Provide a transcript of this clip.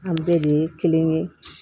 An bɛɛ de ye kelen ye